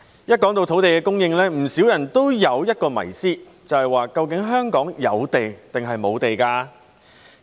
每當談到土地供應，不少人都有一個迷思，便是究竟香港有地抑或無地。